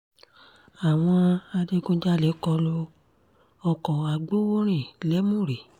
àwọn adigunjalè kọ lu ọkọ̀ agbowórin lèmùrè